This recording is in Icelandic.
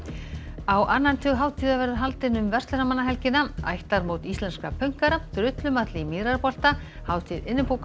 á annan tug hátíða verður haldinn um verslunarmannahelgina ættarmót íslenskra drullumall í Mýrarbolta hátíð